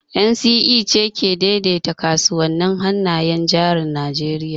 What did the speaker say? NSE ce ke daidaita kasuwannin hannayen jarin Najeriya